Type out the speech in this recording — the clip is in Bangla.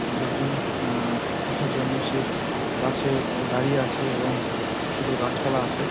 লোকজন আঃ ওঠার জন্য সে বাস -এ দাঁড়িয়ে আছে এবং কিছু গাছ পালা আছে।